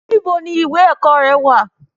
Níbo ni ìwé ẹ̀kọ́ rẹ wà?